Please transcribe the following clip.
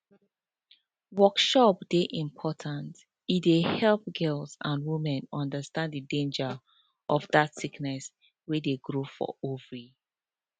workshops dey important e dey help girls and women understand the danger of that sickness wey dey grow for ovary